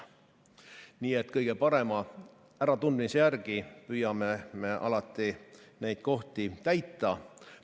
Nii et kõige parema äratundmise järgi püüame me alati neid kohti täita.